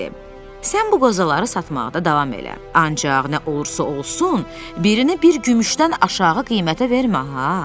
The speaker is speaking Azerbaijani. Sən bu qozaları satmaqda davam elə, ancaq nə olursa olsun, birini bir gümüşdən aşağı qiymətə vermə ha.